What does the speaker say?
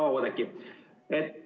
Hea Oudekki!